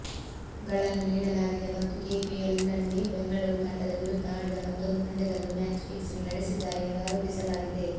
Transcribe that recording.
ಗಳನ್ನು ನೀಡಲಾಗಿದೆ ಮತ್ತು ಕೆಪಿಎಲ್ನಲ್ಲಿ ಬೆಂಗಳೂರು ತಂಡದ ವಿರುದ್ಧ ಆಡಿದ ಮತ್ತೊಂದು ಪಂದ್ಯದಲ್ಲೂ ಮ್ಯಾಚ್ ಫಿಕ್ಸಿಂಗ್ ನಡೆಸಿದ್ದಾರೆ ಎಂದು ಆರೋಪಿಸಲಾಗಿದೆ